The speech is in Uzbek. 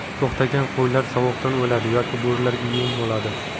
To‘xtagan qo‘ylar sovuqdan o‘ladi yoki bo‘rilarga yem bo‘ladi.